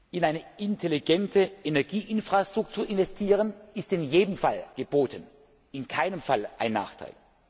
In eine intelligente Energieinfrastruktur investieren ist in jedem Fall geboten, in keinem Fall ein Nachteil.